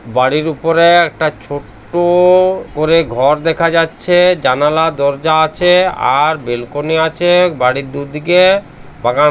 বাড়ির উপরে একটা ছোট্ট ওওও করে ঘর দেখা যাচ্ছে জানালা দরজা আছে আর বেলকনি আছে বাড়ির দুদিকে বাগান--